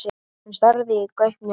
Hann starði í gaupnir sér.